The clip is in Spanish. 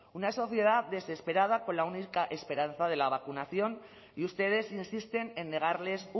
una sociedad desesperada con la única esperanza de la vacunación y ustedes insisten en negarles